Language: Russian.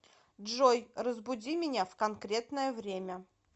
джой разбуди меня в конкретное время